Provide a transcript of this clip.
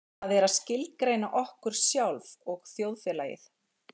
Það er að skilgreina okkur sjálf og þjóðfélagið.